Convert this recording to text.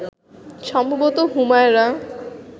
সম্ভবত হুমায়রা